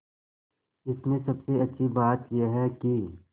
इसमें सबसे अच्छी बात यह है कि